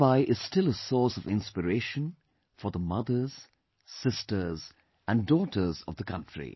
Mirabai is still a source of inspiration for the mothers, sisters and daughters of the country